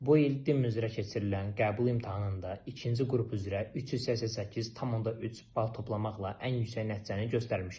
Bu il DIM üzrə keçirilən qəbul imtahanında ikinci qrup üzrə 388.3 bal toplamaqla ən yüksək nəticəni göstərmişəm.